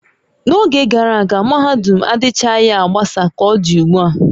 N'oge gara aga, mahadum adịchaghị agbasa ka ọ dị ugbu a